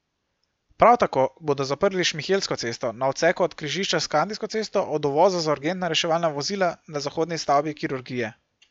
Prav tako bodo zaprli Šmihelsko cesto na odseku od križišča s Kandijsko cesto od uvoza za urgentna reševalna vozila na zahodni stavbi kirurgije.